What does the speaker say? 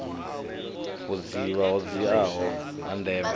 vhudzivha ho dziaho ha ndeme